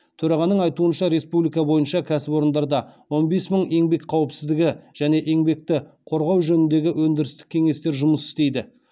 төрағаның айтуынша республика бойынша кәсіпорындарда он бес мың еңбек қауіпсіздігі және еңбекті қорғау жөніндегі өндірістік кеңестер жұмыс істейді